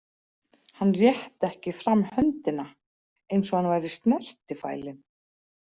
Hann rétti ekki fram höndina, eins og hann væri snertifælinn.